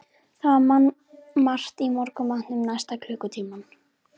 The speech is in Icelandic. Það var mannmargt í morgunmatnum næsta klukkutímann.